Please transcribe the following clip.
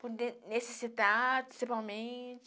Por necessidade, principalmente.